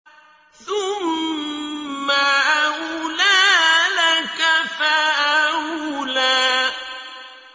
ثُمَّ أَوْلَىٰ لَكَ فَأَوْلَىٰ